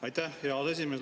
Aitäh, hea aseesimees!